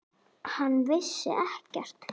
Hann vissi ekkert.